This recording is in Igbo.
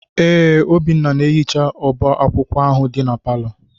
Ee, Obinna na-ehicha ọba akwụkwọ ahụ dị na palọ.